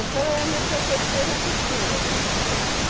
Então, eu me aperfeiçoei na costura.